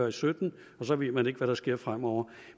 og sytten og så ved man ikke hvad der sker fremover